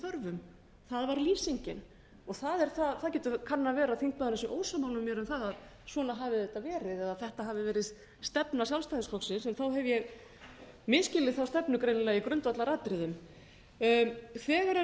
betur þörfum það var lýsingin það kann að vera að þingmaðurinn sé ósammála mér um að svona hafi þetta verið eða þetta hafi verið stefna sjálfstæðisflokksins en þá hef ég misskilið þá stefnu greinilega í grundvallaratriðum þegar